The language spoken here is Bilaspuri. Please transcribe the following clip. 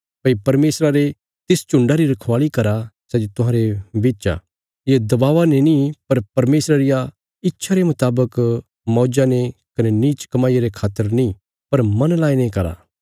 भई परमेशरा रे तिस झुण्डा री रखवाल़ी करा सै जे तुहांरे बिच आ ये दबावा ने नीं पर परमेशरा रिया इच्छा रे मुतावक मौज्जा ने कने नीच कमाईया रे खातर नीं पर मन लाईने करा